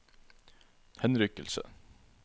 henrykkelse